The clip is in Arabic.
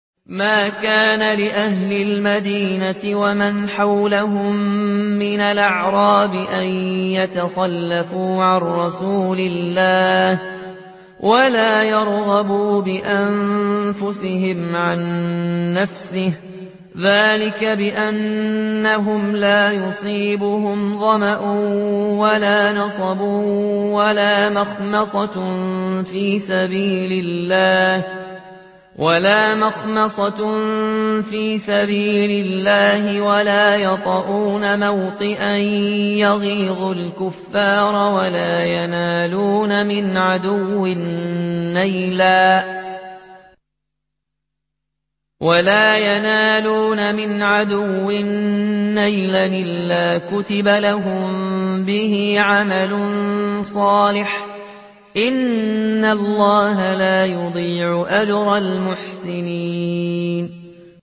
مَا كَانَ لِأَهْلِ الْمَدِينَةِ وَمَنْ حَوْلَهُم مِّنَ الْأَعْرَابِ أَن يَتَخَلَّفُوا عَن رَّسُولِ اللَّهِ وَلَا يَرْغَبُوا بِأَنفُسِهِمْ عَن نَّفْسِهِ ۚ ذَٰلِكَ بِأَنَّهُمْ لَا يُصِيبُهُمْ ظَمَأٌ وَلَا نَصَبٌ وَلَا مَخْمَصَةٌ فِي سَبِيلِ اللَّهِ وَلَا يَطَئُونَ مَوْطِئًا يَغِيظُ الْكُفَّارَ وَلَا يَنَالُونَ مِنْ عَدُوٍّ نَّيْلًا إِلَّا كُتِبَ لَهُم بِهِ عَمَلٌ صَالِحٌ ۚ إِنَّ اللَّهَ لَا يُضِيعُ أَجْرَ الْمُحْسِنِينَ